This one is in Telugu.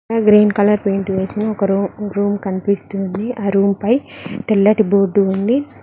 అక్కడ గ్రీన్ కలర్ పెయింట్ వేసిన ఒక రూ రూమ్ ఒక రూమ్ కనిపిస్తుంది ఆ రూమ్ పై తెల్లటి బోర్డు ఉంది.